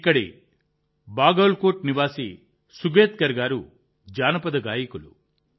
ఇక్కడి బాగల్కోట్ నివాసి సుగేత్కర్ గారు జానపద గాయకులు